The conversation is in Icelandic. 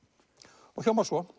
og hljómar svo